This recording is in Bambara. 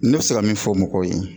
Ne bɛ se ka min fɔ mɔgɔw ye